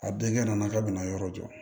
A denkɛ nana k'a bɛna yɔrɔ jɔ